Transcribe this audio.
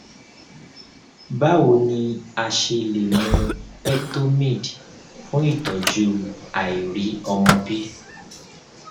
bawo ni a ṣe le mu fertomid fun itọju àìriọmọbi